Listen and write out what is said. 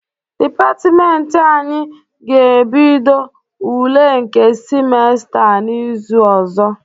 Dịpatịmentị anyị ga-ebido ule nke simesta a n'izu ọzọ.